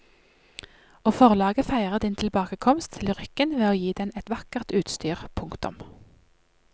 Og forlaget feirer din tilbakekomst til lyrikken ved å gi den et vakkert utstyr. punktum